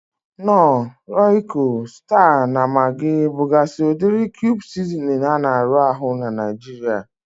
Knor, Royiko, Sita na Magi bugazi udiri kube sizinin a na arụ ahụ n'Naijiria